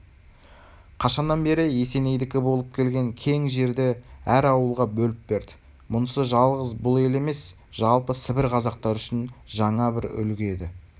қашаннан бері есенейдікі болып келген кең жерді әр ауылға бөліп берді мұнысы жалғыз бұл ел емес жалпы сібір қазақтары үшін жаңа бір үлгі еді